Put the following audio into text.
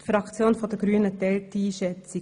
Die Fraktion der Grünen teilt diese Einschätzung.